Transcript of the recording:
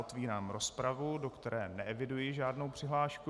Otvírám rozpravu, do které neeviduji žádnou přihlášku.